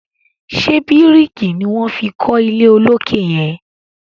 ṣe biriki ní wón fí kò ilé olokè yen?